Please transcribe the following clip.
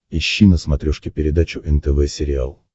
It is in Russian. ищи на смотрешке передачу нтв сериал